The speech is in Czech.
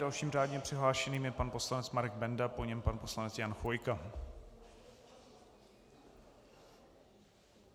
Dalším řádně přihlášeným je pan poslanec Marek Benda, po něm pan poslanec Jan Chvojka.